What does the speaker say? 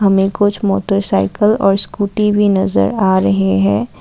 हमें कुछ मोटरसाइकल और स्कूटी भी नजर आ रहे हैं।